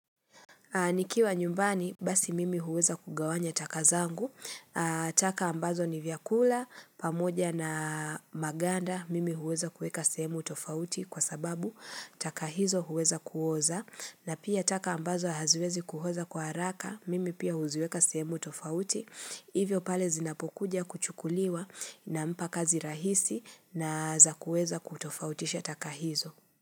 Nikiwa nyumbani, basi mimi huweza kugawanya takazangu, taka ambazo ni vyakula, pamoja na maganda, mimi huweza kueka sehemu tofauti kwa sababu, taka hizo huweza kuoza, na pia taka ambazo haziwezi kuoza kwa haraka, mimi pia huziweka semu tofauti, hivyo pale zinapokuja kuchukuliwa nampa kazi rahisi na za kueza kutofautisha taka hizo.